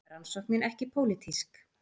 Rannsóknin ekki pólitísk